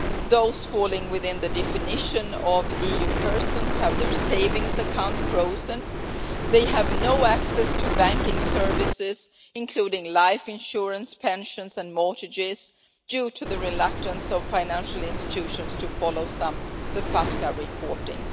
Those falling within the definition of US persons have their savings accounts frozen, they have no access to banking services, including life insurance, pensions and mortgages due to the reluctance of financial institutions to follow the FATCA reporting.